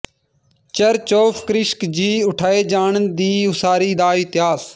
church of ਕ੍ਰਿਸਕ ਜੀ ਉਠਾਏ ਜਾਣ ਦੀ ਉਸਾਰੀ ਦਾ ਇਤਿਹਾਸ